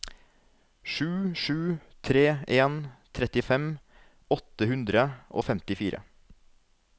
sju sju tre en trettifem åtte hundre og femtifire